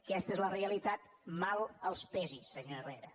aquesta és la realitat mal que els pesi senyor herrera